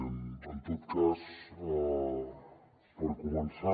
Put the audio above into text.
en tot cas per començar